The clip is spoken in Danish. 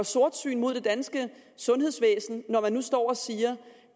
sortsyn mod det danske sundhedsvæsen når man nu står og siger